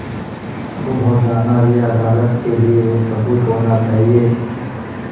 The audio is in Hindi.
गुम हो जाना भी अदालत के लिये एक सबूत होना चाहिए